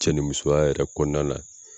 Cɛ ni musoya yɛrɛ kɔnɔna na.